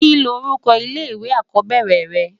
Kini órúkò ilé iwé ákòbèrè rè?